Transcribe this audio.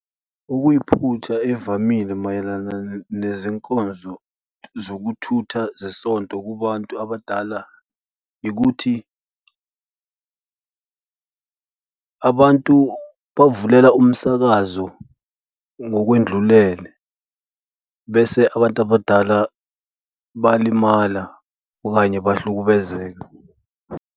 Okuyiphutha evamile mayelana nezinkonzo zokuthutha zesonto kubantu abadala ikuthi abantu bavulela umsakazo ngokwedlulele bese abantu abadala balimala okanye bahlukumezeke.